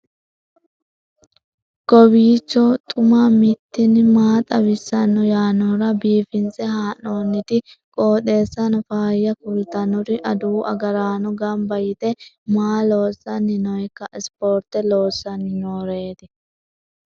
kowiicho xuma mtini maa xawissanno yaannohura biifinse haa'noonniti qooxeessano faayya kultannori adawu agaraano gamba yite maa loossanni nooikka sporte loossanni nooreeti